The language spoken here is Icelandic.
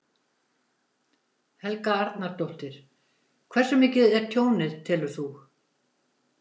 Helga Arnardóttir: Hversu mikið er tjónið, telur þú?